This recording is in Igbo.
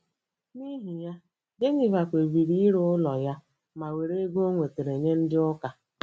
N’ihi ya, Geniva kpebiri ire ụlọ ya ma were ego o nwetara nye Ndị Ụka.